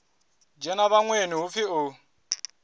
dzhena vhaṅweni hu pfi u